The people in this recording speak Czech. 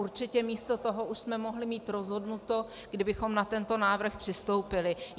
Určitě místo toho už jsme mohli mít rozhodnuto, kdybychom na tento návrh přistoupili.